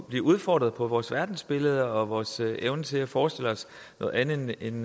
blive udfordret på vores verdensbillede og vores evne til at forestille os noget andet end